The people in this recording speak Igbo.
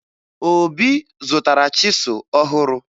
Obi zụtara chịsụ ọhụrụ